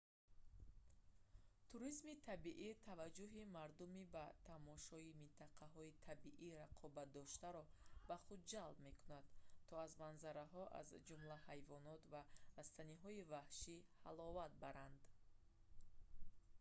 туризми табиӣ таваҷҷӯҳи мардуми ба тамошои минтақаҳои табиӣ рағбатдоштаро ба худ ҷалб мекунад то аз манзараҳо аз ҷумла ҳайвонот ва растаниҳои ваҳшӣ ҳаловат баранд